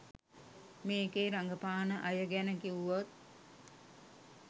මේකේ රඟපාන අයගැන කිව්වොත්